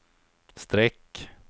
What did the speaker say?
streck